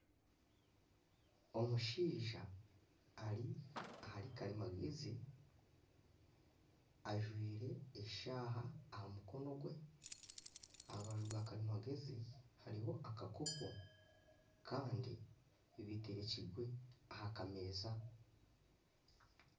Omushaija ari ahari karimagyezi ajwaire eshaaha aha mukono gwe aha rubaju rwa karimagyezi hariho akakopo kandi biterekirwe aha kameeza.